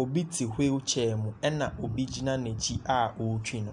Obi te wheel chair mu na obi gyina n'akyi a ɔretwi no.